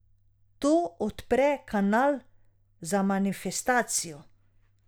To odpre kanal za manifestacijo.